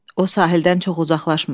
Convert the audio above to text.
O sahildən çox uzaqlaşmır.